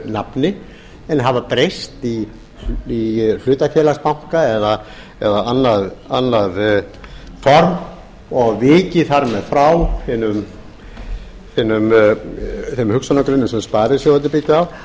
nafni en hafa breyst í hlutafélagsbanka eða annað form og vikið þar með frá þeim hugsjónagrunni sem sparisjóðirnir byggja